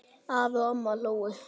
Afi og amma hlógu.